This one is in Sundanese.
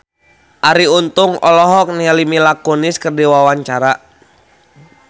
Arie Untung olohok ningali Mila Kunis keur diwawancara